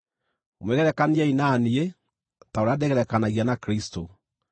Mwĩgerekaniei na niĩ, ta ũrĩa ndĩgerekanagia na Kristũ.